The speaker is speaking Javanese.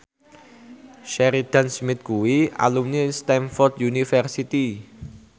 Sheridan Smith kuwi alumni Stamford University